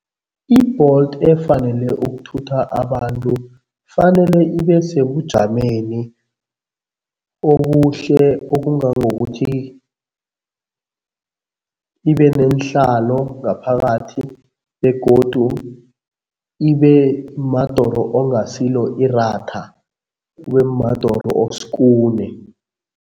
I-Bolt efanele ukuthutha abantu fanele ibe sebujameni obuhle okungangokuthi ibe neenhlalo ngaphakathi begodu ibe madoro ongasilo iratha, kube madoro oskune.